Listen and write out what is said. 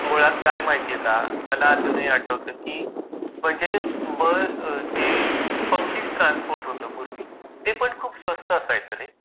मुळात काय माहित आहे का मला अजूनही आठवत की म्हणजे जे पब्लिक ट्रान्सपोर्ट होता पूर्वी ते पण खूप स्वस्त असायचं रे.